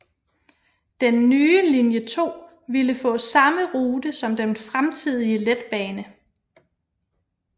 Den nye linje 2 ville få samme rute som den fremtidige letbane